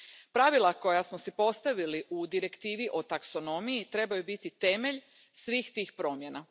Pravila koja smo postavili u Direktivi o taksonomiji trebaju biti temelj svih tih promjena.